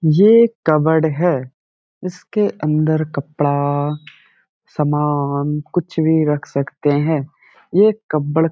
ये कबर्ड है। इसके अंदर कपड़ा सामान कुछ भी रख सकते हैं। ये कब्बड़ --